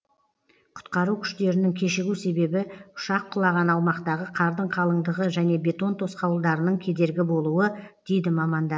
құтқару күштерінің кешігу себебі ұшақ құлаған аумақтағы қардың қалыңдығы және бетон тосқауылдарының кедергі болуы дейді мамандар